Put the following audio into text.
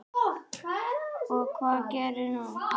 Og hvað gerði hún?